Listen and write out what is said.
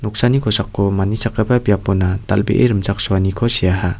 kosako manichakgipa biapona dal·bee rimchaksoaniko seaha.